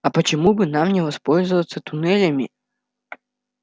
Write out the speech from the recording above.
а почему бы нам не воспользоваться туннелями